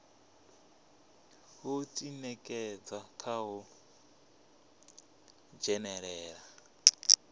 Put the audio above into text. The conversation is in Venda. u ḓinekedza kha u dzhenelela